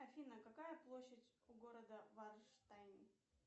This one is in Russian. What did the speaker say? афина какая площадь у города варштайн